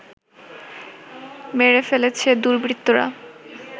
মেরে ফেলেছে দুর্বৃত্তরা